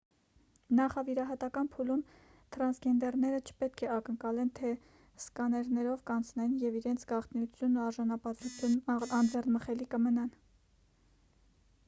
նախավիրահատական փուլում թրանսգենդերները չպետք է ակնկալեն թե սկաներներով կանցնեն և իրենց գաղտնիությունն ու արժանապատվությունն անձեռնամխելի կմնան